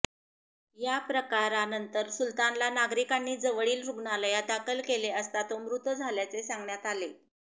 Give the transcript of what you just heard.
या प्रकारानंतर सुलतानला नागरिकांनी जवळील रुग्णालयात दाखल केले असता तो मृत झाल्याचे सांगण्यात आले